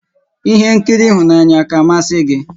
Ihé nkiri ịhụnanya àkà a masị gị?